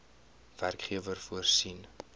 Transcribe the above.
werkgewer voorsien